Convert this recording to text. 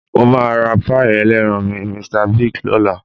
Mo máa ra páì ẹlẹ́ran ní Mr Biggs lọ́la